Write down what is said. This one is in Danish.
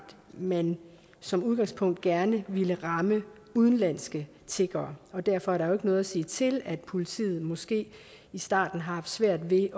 man som udgangspunkt gerne ville ramme udenlandske tiggere og derfor er der jo ikke noget at sige til at politiet måske i starten har haft svært ved